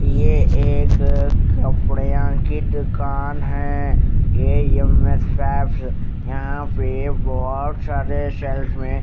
ये एक अ कपड्यांक कि दुकान है यहा पे बोहत सारे शेल्फ्स में--